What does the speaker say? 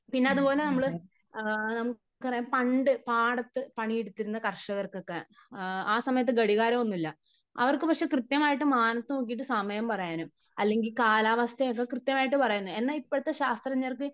പിന്നെ അത്പോലെ നമ്മള് ആ നമുക്കറിയാം പണ്ട് പാടത്ത് പണിയെടുത്തിരുന്ന കർഷകർക്കൊക്കെ ആ സമയത്ത് ഘടികാരം ഒന്നുമില്ല . അവർക്ക് പക്ഷ കൃത്യമായിട്ട് മാനത്ത് നോക്കിയിട്ട് സമയം പറയാനും അല്ലെങ്കി കാലാവസ്ഥയൊക്കെ കൃത്യമായിട്ട് എന്നാൽ ഇപ്പോഴത്തെ ശാസ്ത്രജ്ഞർക്ക്